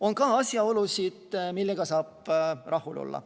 On ka asjaolusid, millega saab rahul olla.